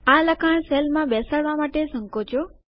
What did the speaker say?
આ લખાણ સેલમાં બેસાડવા માટે સંકોચો